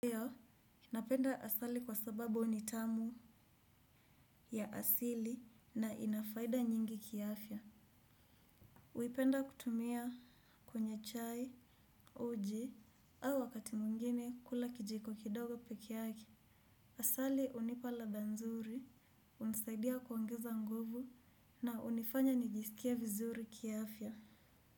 Ndio, napenda asali kwa sababu ni tamu ya asili na ina faida nyingi kiafya. Huipenda kutumia kwenye chai, uji, au wakati mwingine kula kijiko kidogo peke yake. Asali hunipa ladha nzuri, hunisaidia kuongeza nguvu na hunifanya nijisikie vizuri kiafya.